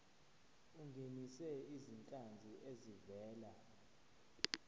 ungenise izinhlanzi ezivela